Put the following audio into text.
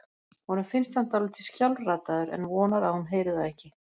Honum finnst hann dálítið skjálfraddaður en vonar að hún heyri það ekki.